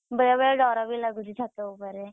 ବେଳେବେଳେ ଡ଼ରବି ଲାଗୁଛି ଛାତ ଉପରେ,